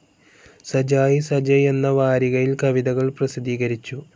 സജായിസജയ് എന്ന വാരികയിൽ കവിതകൾ പ്രസിദ്ധീകരിച്ചു.